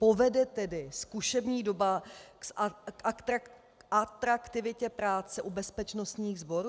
Povede tedy zkušební doba k atraktivitě práce u bezpečnostních sborů?